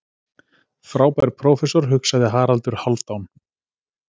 Frábær prófessor, hugsaði Haraldur Hálfdán.